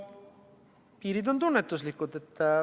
Piirid on tunnetuslikud.